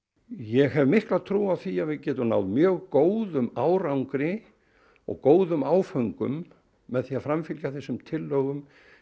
ég hef mikla trú á því að við getum náð mjög góðum árangri og góðum áföngum með því að framfylgja þessum tillögum